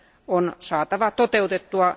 on saatava toteutettua.